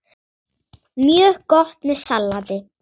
Mjög gott með salati.